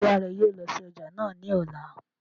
Ṣé ìyá rẹ yóò lọ sí ọjà náà ní ọ̀la?